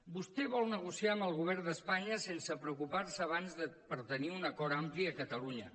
vostè vol negociar amb el govern d’espanya sense preocupar se abans per tenir un acord ampli a catalunya